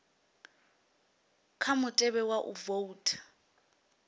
kha mutevhe wa u voutha